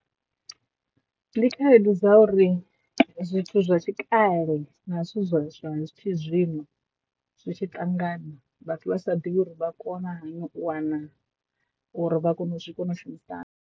Ndi khaedu dza uri zwithu zwa tshikale na zwithu zwa zwa zwi tshi zwino zwi tshi ṱangana vhathu vha sa ḓivhi uri vha kona hani u wana uri vha kone u zwi kone u shumisana.